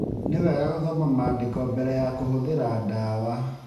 Nĩ wega gũthoma maandĩko mbere ya kũhũthĩra ndawa.